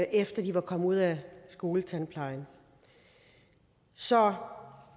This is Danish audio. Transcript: efter de var kommet ud af skoletandplejen så